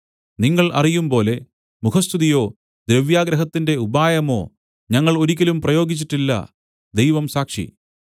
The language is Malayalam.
നിങ്ങൾ അറിയുംപോലെ മുഖസ്തുതിയോ ദ്രവ്യാഗ്രഹത്തിന്റെ ഉപായമോ ഞങ്ങൾ ഒരിക്കലും പ്രയോഗിച്ചിട്ടില്ല ദൈവം സാക്ഷി